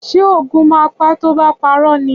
Ṣé Ògún má pa to ba parọ́ ọni?